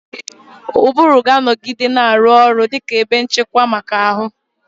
Ụbụrụ ga-anọgide na-arụ ọrụ dị ka ebe nchịkwa maka ahụ.